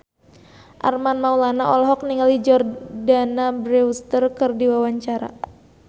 Armand Maulana olohok ningali Jordana Brewster keur diwawancara